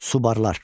Subarlar.